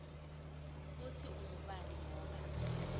kutsi ungubani ngoba